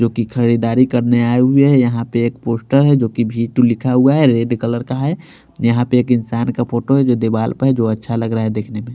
जो कि खरीदारी करने आए हुए हैं यहाँ पे एक पोस्टर है जो कि वी टू लिखा हुआ है रेड कलर का है यहाँ पे एक इंसान का फोटो है जो दीवाल पे है जो अच्छा लग रहा है देखने में।